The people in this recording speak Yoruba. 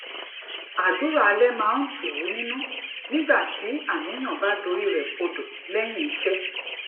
àdúrà alé máa ń tù ú nínú nígbà tí àníyàn bá dorí rè kodò léyìn iṣé